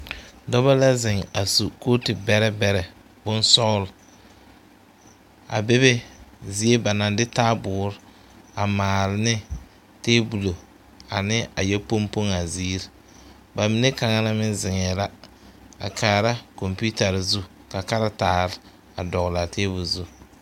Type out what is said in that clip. Dɔba la ziŋ a su kootu bɛrebɛre boŋsɔglɔ a bebe zie ba naŋ de taaboore a maal ne tabolo ane a yɛ poŋpoŋ a zeere ba mine kaŋ meŋ ziŋɛɛ la a kaara kompiitare zu ka karetaare a dɔgle a tabol zu.